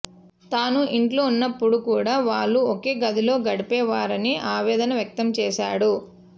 తాను ఇంట్లో ఉన్నప్పుడు కూడా వాళ్లు ఒకే గదిలో గడిపేవారని ఆవేదన వ్యక్తం చేశాడు